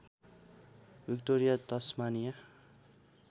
Victoria Tasmania